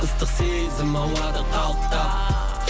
ыстық сезім ауада қалықтап